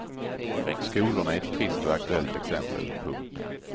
Skolorna är ett trist och aktuellt exempel. punkt